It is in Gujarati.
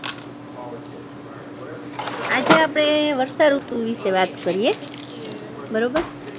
આજે આપણે વર્ષાઋતુ વિષે વાત કરીએ. બરોબર